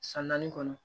San naani kɔnɔ